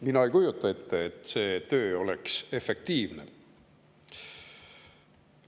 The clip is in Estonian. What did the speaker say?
Mina ei kujuta ette, et see töö oleks efektiivne.